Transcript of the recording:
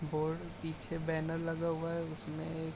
board पीछे banner लगा हुआ है उसमें एक --